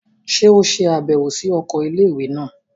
Ṣe o ṣabẹwo si oko ilé-ìwé náà?